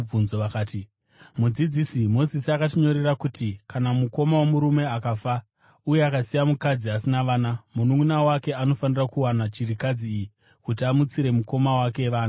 Vakati, “Mudzidzisi, Mozisi akatinyorera kuti kana mukoma womurume akafa uye akasiya mukadzi asina vana, mununʼuna wake anofanira kuwana chirikadzi iyi kuti amutsire mukoma wake vana.